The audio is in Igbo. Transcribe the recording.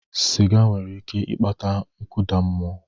Siga nwere ike ịkpata nkụda mmụọ